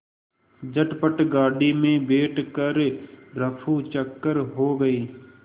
झटपट गाड़ी में बैठ कर ऱफूचक्कर हो गए